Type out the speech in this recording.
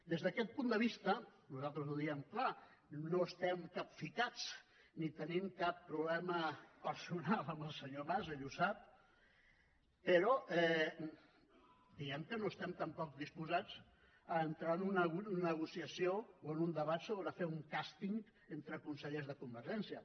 des d’aquest punt de vista nosaltres ho diem clar no estem capficats ni tenim cap problema personal amb el senyor mas ell ho sap però diguemne que no estem tampoc disposats a entrar en una negociació o en un debat sobre fer un càsting entre consellers de convergència